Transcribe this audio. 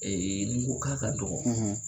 ni n ko k'a ka dɔgɔ